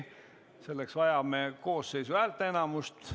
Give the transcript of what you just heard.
Selleks vajame Riigikogu koosseisu häälteenamust.